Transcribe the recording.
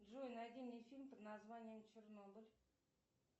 джой найди мне фильм под названием чернобыль